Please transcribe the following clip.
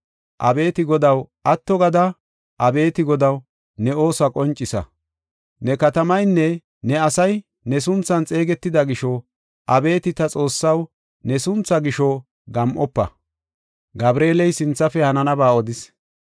Abeeti Godaw, si7a! Abeeti Godaw, atto gada! Abeeti Godaw, ne oosuwa qoncisa! Ne katamaynne ne asay ne sunthan xeegetida gisho, abeeti ta Xoossaw, ne sunthaa gisho gam7ofa.”